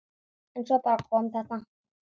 En svo bara kom þetta.